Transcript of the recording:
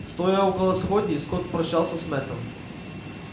стоя около сходней скотт прощался с мэттом